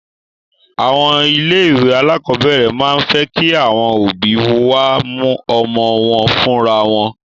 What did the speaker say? Àwọn ilé ìwé alákọ̀berẹ̀ máa ń fẹ́ kí àwọn òbí wá mú ọmọ wọn fúnra wọn.